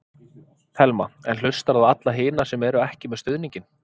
Telma: En hlustarðu á alla hina sem eru ekki með stuðninginn?